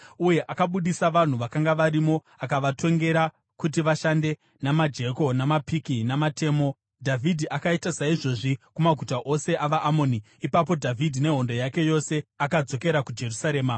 uye akabudisa vanhu vakanga varimo, akavatongera kuti vashande namajeko namapiki namatemo. Dhavhidhi akaita saizvozvi kumaguta ose avaAmoni. Ipapo Dhavhidhi nehondo yake yose akadzokera kuJerusarema.